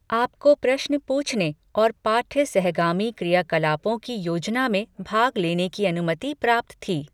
आपको प्रश्न पूछने और पाठ्य सहगामी क्रियाकलापों की योजना में भाग लेने की अनुमति प्राप्त थी।